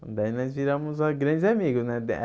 Daí nós viramos grandes amigos, né?